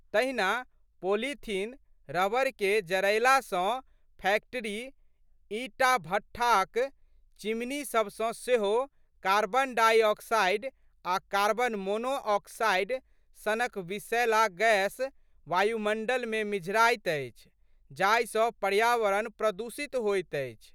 तहिना पोलीथीन, रबड़के जरएला सँ फैक्टरी, ईटाभट्ठाक चिमनीसबसँ सेहो कार्बन डॉइ ऑक्साइड आ' कार्बन मोनो ऑक्साइड संनक विषैल गैस वायुमण्डलमे मिझराइत अछि जाहि सँ पर्यावरण प्रदूषित होइत अछि।